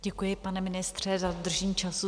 Děkuji, pane ministře, za dodržení času.